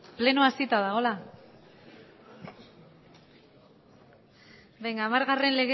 plenoa hasita dago venga amargarren